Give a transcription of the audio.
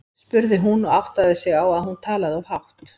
spurði hún og áttaði sig á að hún talaði of hátt.